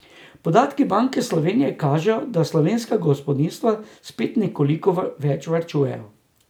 Podatki Banke Slovenije kažejo, da slovenska gospodinjstva spet nekoliko več varčujejo.